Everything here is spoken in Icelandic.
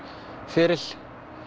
feril